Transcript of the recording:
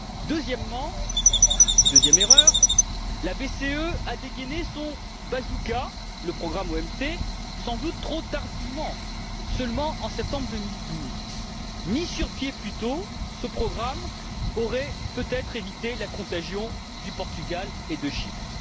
Deuxièmement et deuxième erreur, la BCE a dégainé son bazooka le programme OMT sans doute trop tardivement, seulement en septembre2012. Mis sur pied plus tôt, ce programme aurait peut être évité la contagion du Portugal et de Chypre.